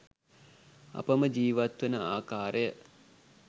අපම ජීවත්වන ආකාරය